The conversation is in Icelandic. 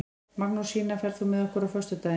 Magnúsína, ferð þú með okkur á föstudaginn?